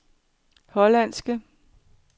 hollandske